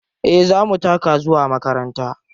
Eh za mu taka zuwa makaranta.